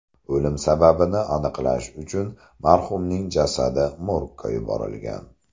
O‘lim sababini aniqlash uchun marhumning jasadi morgga yuborilgan.